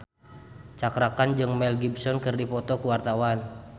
Cakra Khan jeung Mel Gibson keur dipoto ku wartawan